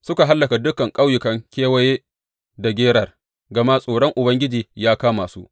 Suka hallaka dukan ƙauyukan kewaye da Gerar, gama tsoron Ubangiji ya kama su.